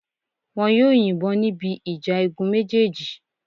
Wọn yóò yìnbọn níbi ìjà igun méjèèjì